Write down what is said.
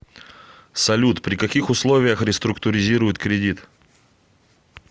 салют при каких условиях реструктуризируют кредит